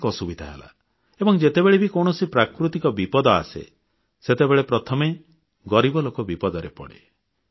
ଅନେକ ଅସୁବିଧା ହେଲା ଏବଂ ଯେତେବେଳେ ବି କୌଣସି ପ୍ରାକୃତିକ ବିପଦ ଆସେ ସେତେବେଳେ ପ୍ରଥମେ ଗରିବ ଲୋକ ବିପଦରେ ପଡ଼େ